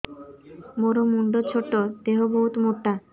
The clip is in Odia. ମୋର ମୁଣ୍ଡ ଛୋଟ ଦେହ ବହୁତ ମୋଟା